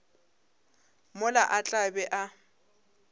mola a tla be a